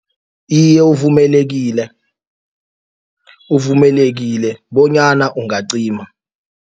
Iye, uvumelekile, uvumelekile bonyana ungacima.